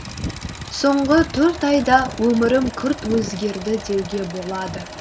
соңғы төрт айда өмірім күрт өзгерді деуге болады